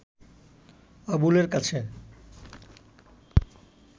আবুলের কাছে